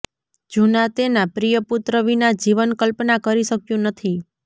જૂના તેના પ્રિય પુત્ર વિના જીવન કલ્પના કરી શક્યું નથી